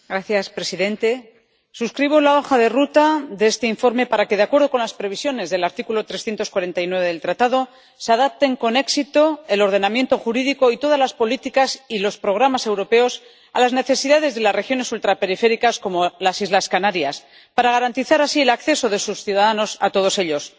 Señor presidente, suscribo la hoja de ruta de este informe para que, de acuerdo con las previsiones del artículo 349 del Tratado, se adapten con éxito el ordenamiento jurídico y todas las políticas y los programas europeos a las necesidades de las regiones ultraperiféricas, como las islas Canarias, para garantizar así el acceso de sus ciudadanos a todos ellos.